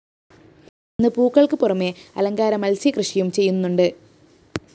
ഇന്ന് പൂക്കള്‍ക്ക് പുറമേ അലങ്കാര മത്സ്യക്കൃഷിയും ചെയ്യുന്നുണ്ട്